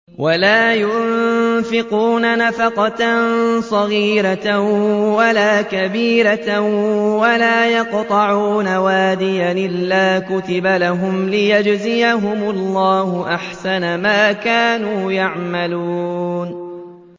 وَلَا يُنفِقُونَ نَفَقَةً صَغِيرَةً وَلَا كَبِيرَةً وَلَا يَقْطَعُونَ وَادِيًا إِلَّا كُتِبَ لَهُمْ لِيَجْزِيَهُمُ اللَّهُ أَحْسَنَ مَا كَانُوا يَعْمَلُونَ